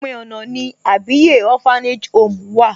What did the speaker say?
Òpin ọ̀nà ni Àbíyè Orphanage home wà.